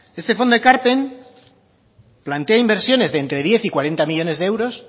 este fondo ekarpen plantea inversiones de entre diez y cuarenta millónes de euros